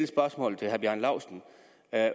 spørgsmål til herre bjarne laustsen